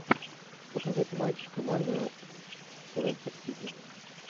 показать матч команды лестер сити